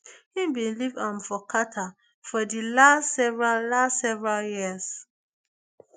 im bin live um for qatar for di last several last several years